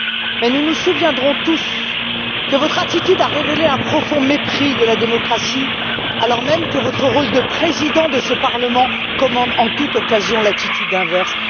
Mais nous nous souviendrons tous que votre attitude a révélé un profond mépris de la démocratie, alors même que votre rôle de Président de ce Parlement commande en toute occasion l'attitude inverse.